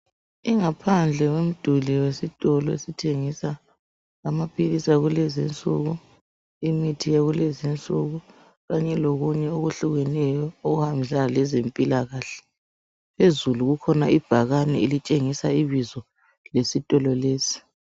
Ingaphandle yomduli wesitolo esitshengisa amaphilisi akulezinsuku, imithi yakulezinsuku kanye lokunye okuhlukeneyo okuhambisana lezempilakahle. Phezulu likhona ibhakane elitshengisa ibizo lesitolo lesi.